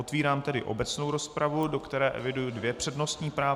Otevírám tedy obecnou rozpravu, do které eviduji dvě přednostní práva.